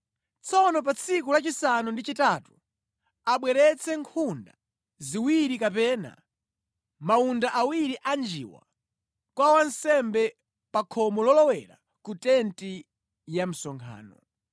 Tsono pa tsiku lachisanu ndi chitatu abweretse nkhunda ziwiri kapena mawunda awiri anjiwa kwa wansembe pa khomo lolowera ku tenti ya msonkhano.